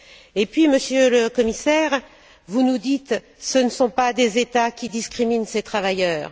Et enfin, Monsieur le Commissaire, vous nous dites Ce ne sont pas des États qui discriminent ces travailleurs.